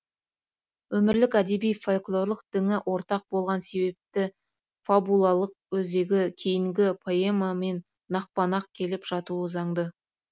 өмірлік әдеби фольклорлық діңі ортақ болған себепті фабулалық өзегі кейінгі поэмамен нақпа нақ келіп жатуы заңды